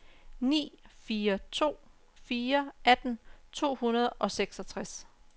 ni fire to fire atten to hundrede og seksogtres